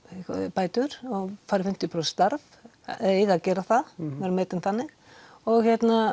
bætur og fer í fimmtíu prósent starf eða eiga að gera það metinn þannig og